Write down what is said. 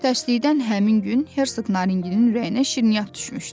Tərslikdən həmin gün Hersoq Naringinin ürəyinə şirniyyat düşmüşdü.